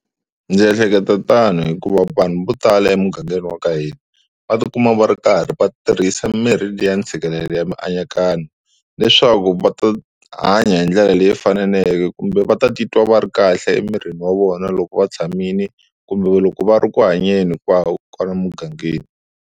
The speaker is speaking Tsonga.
Ndzi ehleketa tano hikuva vanhu vo tala emugangeni wa ka hina va tikuma va ri karhi va tirhisa mirhi liya ntshikelelo ya mianakanyo, leswaku va ta hanya hi ndlela leyi faneleke kumbe va ta titwa va ri kahle emirini wa vona loko va tshamile kumbe loko va ri eku hanyeni hikwako kwala emugangeni.